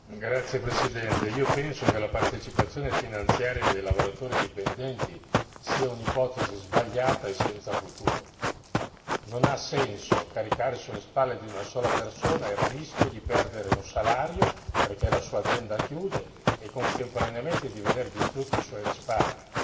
Signor Presidente, onorevoli colleghi, io penso che la partecipazione finanziaria dei lavoratori dipendenti sia un'ipotesi sbagliata e senza futuro. Non ha senso caricare sulle spalle di una sola persona il rischio di perdere un salario perché la sua azienda chiude e contemporaneamente di veder distrutti i suoi risparmi.